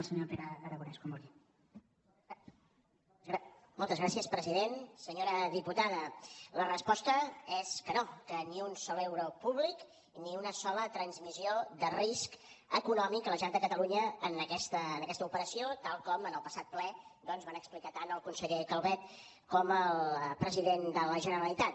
senyora diputada la resposta és que no que ni un sol euro públic ni una sola transmissió de risc econòmic a la generalitat de catalunya en aquesta operació tal com en el passat ple doncs van explicar tant el conseller calvet com el president de la generalitat